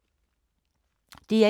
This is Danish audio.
DR1